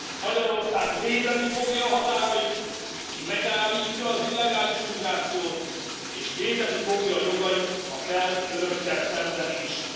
Magyarország védeni fogja a határait, megállítja az illegális migrációt, és védeni fogja jogait, ha kell, Önökkel szemben is.